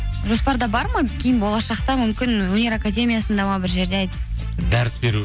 жоспарда бар ма кейін болашақта мүмкін өнер академиясында ма бір жерде дәріс беру